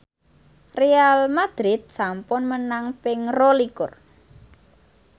Real madrid sampun menang ping rolikur